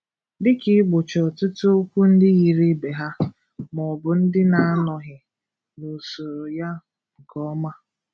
Dịka ị́gbochi ọtụtụ okwu ndị yiri ibé ha, ma ọ bụ ndị na - anọghi n'usoro ya nke ọma.